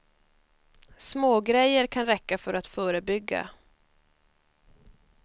Små grejer kan räcka för att förebygga.